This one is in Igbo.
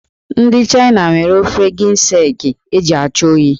Ndị China nwere ofe ginseng eji achụ oyi.